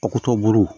A kuto buru